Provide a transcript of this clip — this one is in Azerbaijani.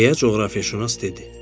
Deyə coğrafiyaşünas dedi.